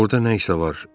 Orda nə isə var.